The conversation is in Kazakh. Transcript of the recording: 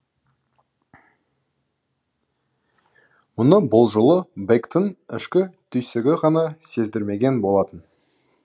мұны бұл жолы бэктің ішкі түйсігі ғана сездірмеген болатын